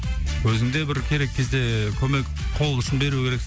өзің де бір керек кезде көмек қол ұшын беру керексің